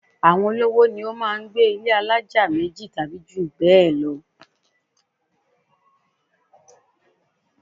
Àwọn olówó ni ó máá ń gbé ilé alájà méjì tàbí jù bẹ́ẹ̀ lọ